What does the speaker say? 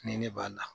Ni ne b'a la